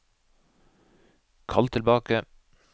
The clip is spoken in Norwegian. kall tilbake